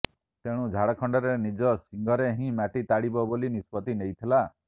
ତେଣୁ ଝାଡ଼ଖଣ୍ଡରେ ନିଜ ସିଙ୍ଘରେ ହିଁ ମାଟି ତାଡିବ ବୋଲି ନିଷ୍ପତ୍ତି ନେଇଥିଲା